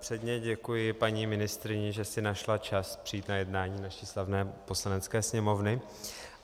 Předně děkuji paní ministryni, že si našla čas přijít na jednání naší slavné Poslanecké sněmovny.